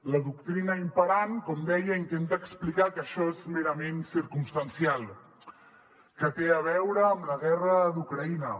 la doctrina imperant com deia intenta explicar que això és merament circumstancial que té a veure amb la guerra d’ucraïna